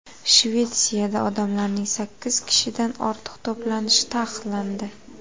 Shvetsiyada odamlarning sakkiz kishidan ortiq to‘planishi taqiqlandi.